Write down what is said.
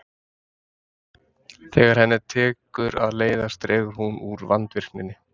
Þegar henni tekur að leiðast dregur hún úr vandvirkninni.